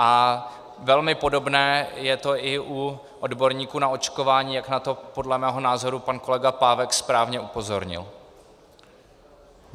A velmi podobné je to i u odborníků na očkování, jak na to podle mého názoru pan kolega Pávek správně upozornil.